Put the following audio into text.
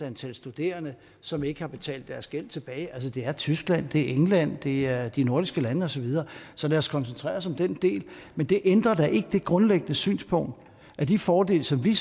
antal studerende som ikke har betalt deres gæld tilbage det er tyskland det er england det er de nordiske lande og så videre så lad os koncentrere os om den del men det ændrer da ikke det grundlæggende synspunkt at de fordele som vi